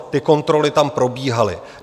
Ty kontroly tam probíhaly.